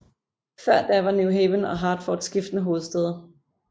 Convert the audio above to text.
Før da var New Haven og Hartford skiftende hovedstæder